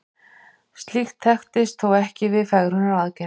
slíkt þekkist þó ekki við fegrunaraðgerðir